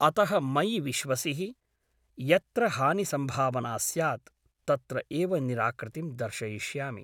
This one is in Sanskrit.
अतः मयि विश्वसिहि । यत्र हानिसम्भावना स्यात् तत्र एव निराकृतिं दर्शयिष्यामि ।